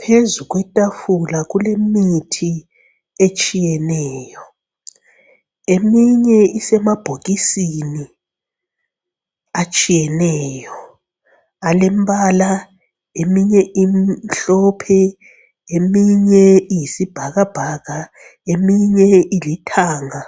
Phezu kwetafula kulemithi etshiyeneyo. Eminye isemabhokisini atshiyeneyo, alembala eminye imhlophe, eminye iyisibhakabhaka, eminye ilithanga,